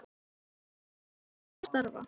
Heilinn í honum neitaði að starfa.